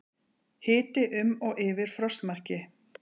Hiti um og yfir frostmarki